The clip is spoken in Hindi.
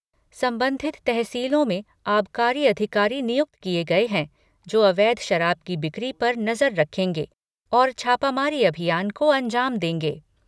संबंधित तहसीलों में आबकारी अधिकारी नियुक्त किए गए हैं, जो अवैध शराब की बिक्री पर नजर रखेंगे और छापामारी अभियान को अंजाम देंगे।